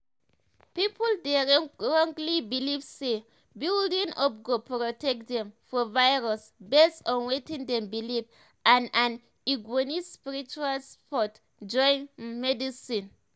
people dey wrongly believe say bundling up go protect dem from virus based on wetin dem believe and and e go need spiritual support join um medicine. um